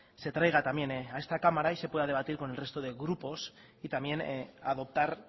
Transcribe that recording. se traiga también a esta cámara y se pueda debatir con el resto de grupos y también adoptar